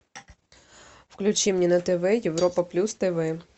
включи мне на тв европа плюс тв